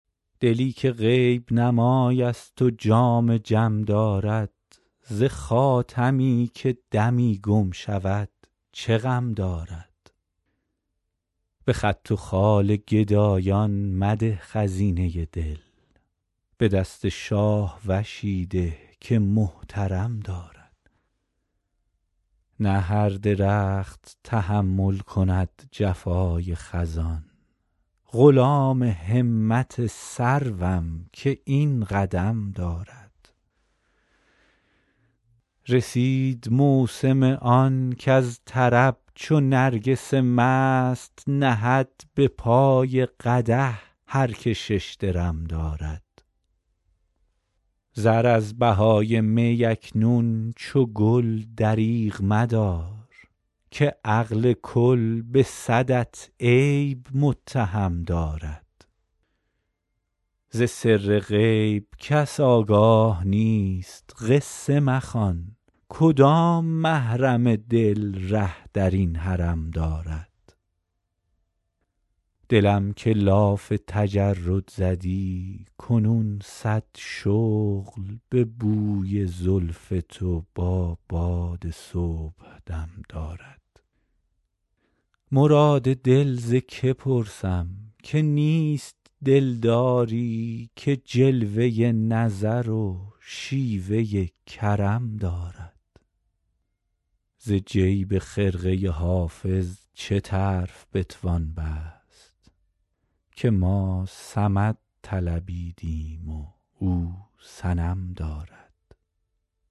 دلی که غیب نمای است و جام جم دارد ز خاتمی که دمی گم شود چه غم دارد به خط و خال گدایان مده خزینه دل به دست شاهوشی ده که محترم دارد نه هر درخت تحمل کند جفای خزان غلام همت سروم که این قدم دارد رسید موسم آن کز طرب چو نرگس مست نهد به پای قدح هر که شش درم دارد زر از بهای می اکنون چو گل دریغ مدار که عقل کل به صدت عیب متهم دارد ز سر غیب کس آگاه نیست قصه مخوان کدام محرم دل ره در این حرم دارد دلم که لاف تجرد زدی کنون صد شغل به بوی زلف تو با باد صبحدم دارد مراد دل ز که پرسم که نیست دلداری که جلوه نظر و شیوه کرم دارد ز جیب خرقه حافظ چه طرف بتوان بست که ما صمد طلبیدیم و او صنم دارد